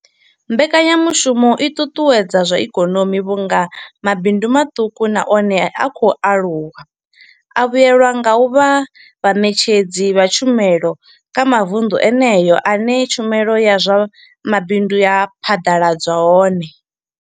Mbekanyamushumo i ṱuṱuwedza zwa ikonomi vhunga mabindu maṱuku na one a khou aluwa a vhuelwa nga u vha vhaṋetshedzi vha tshumelo kha mavundu eneyo ane tshumelo ya zwa mabindu ya phaḓaladzwa hone.